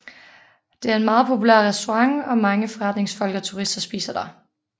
Det er en meget populær restaurant og mange forretningsfolk og turister spiser der